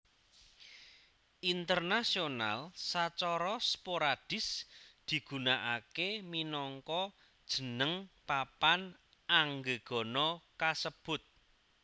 Internasional sacara sporadis digunakake minangka jeneng papan anggegana kasebut